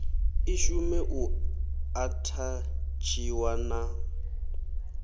i shume u athatshiwa na